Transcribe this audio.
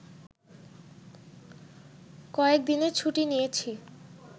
কয়েক দিনের ছুটি নিয়েছি